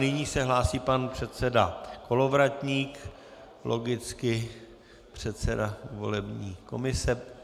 Nyní se hlásí pan předseda Kolovratník, logicky, předseda volební komise.